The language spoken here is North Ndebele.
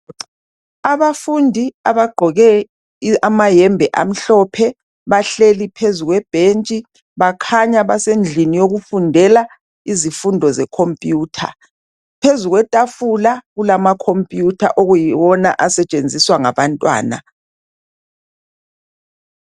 Abafundi abagqoke amayembe amhlophe bahleli phezulu kwe bench kukhanya basendlini yokufundela izifundo zecomputers phezulu kwetafula kulamacomputer asetshensiswa yilabo bantwana